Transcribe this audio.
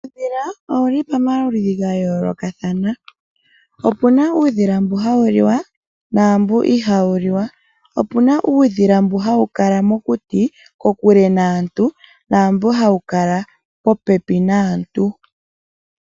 Uudhila owuli pamaludhi ga yooloka. Opuna uudhila mboka hawu liwa naamboka ihawu liwa. Uudhila wumwe ohawu kala mokuti kokule naantu nambu hawu kala popepi naantu.